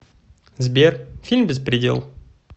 сбер фильм беспредел